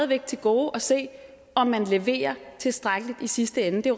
væk til gode at se om man leverer tilstrækkeligt i sidste ende det